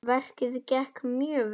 Verkið gekk mjög vel.